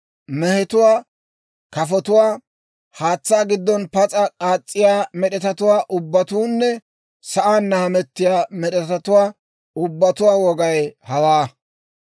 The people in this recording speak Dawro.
« ‹Mehetuwaa, kafotuwaa, haatsaa giddon pas'a k'aas's'iyaa med'etatuwaa ubbatuunne sa'aanna hametiyaa med'etatuwaa ubbatuwaa wogay hawaa.